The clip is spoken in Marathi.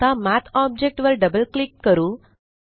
आता मठ ऑब्जेक्ट वर डबल क्लिक करू